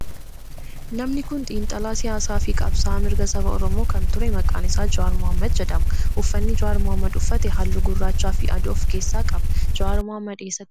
Namni kun xiinxalaa siyaasaa fi qabsa'aa mirga saba oromoo kan ture maqaan isaa Jawaar Mohaammed jedhama. Uffanni Jawaar Mohaammed uffate halluu gurraachaa fi adii of keessaa qaba. Jawaar mohaammed eessatti dhalate?